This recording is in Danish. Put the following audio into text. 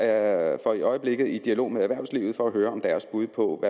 er i øjeblikket i dialog med erhvervslivet for at høre deres bud på